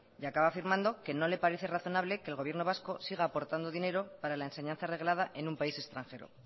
y acaba afirmando que no le parece razonable que el gobierno vasco siga aportando dinero para la enseñanza reglada en un país extranjero